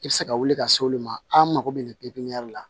I bɛ se ka wuli ka se olu ma an mako bɛ nin la